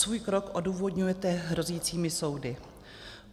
Svůj krok odůvodňujete hrozícími soudy.